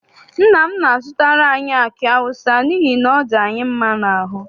Nna m na-azụtara anyi aki awụsa n'ihi ọ dị anyị mma n'aru.